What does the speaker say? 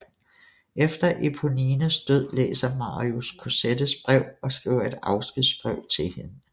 Efter Éponines død læser Marius Cosettes brev og skriver et afskedsbrev til hende